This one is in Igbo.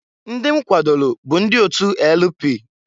Ndị m kwadolu bụ ndị otu LP.